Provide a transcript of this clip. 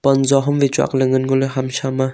ang ley ngo ley ham sha ma.